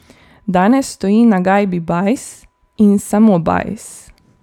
Danes stoji na gajbi Bajs in samo Bajs.